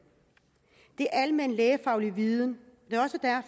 det er almen lægefaglig viden